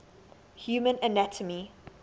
human anatomy